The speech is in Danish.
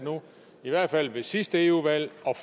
i hvert fald ved sidste eu valg og